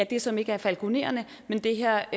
det som ikke er falkonererne men det her